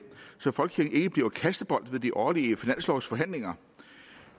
så folkekirken ikke bliver kastebold ved de årlige finanslovforhandlinger